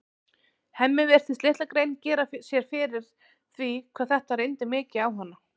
Hemmi virtist litla grein gera sér fyrir því hvað þetta reyndi mikið á hana.